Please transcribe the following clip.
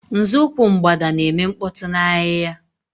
Nzọụkwụ Mgbada na-eme mkpọtụ n'ahịhịa.